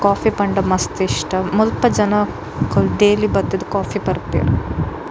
Coffee ಪಂಡ ಮಸ್ತ್ ಇಷ್ಟ ಮುಲ್ಪ ಜನೊಕುಲು ಡೈಲಿ ಬತ್ತುದ್ ಕೋಫಿ ಪರ್ಪೆರ್.